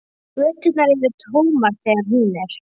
Göturnar eru tómar þegar hún er.